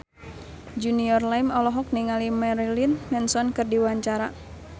Junior Liem olohok ningali Marilyn Manson keur diwawancara